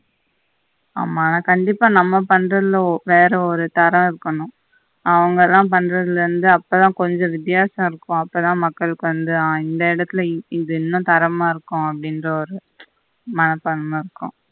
ஆமா நான் கண்டிப்பா நம்ம control அவங்கெல்லாம் பண்ரதுல இருந்து அப்ப தான் கொஞ்சம் வித்தியாசம் இருக்கும் அப்ப தான் மக்களுக்கு வந்து ஆஹ் இந்த இடத்தில இன்னம் தரமா இருக்கும் அப்படின்னு ஒரு மனப்பான்மை இருக்கும்